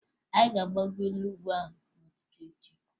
Anyị ga-agbago elu ugwu ahụ n'ụtụtụ echi